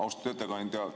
Austatud ettekandja!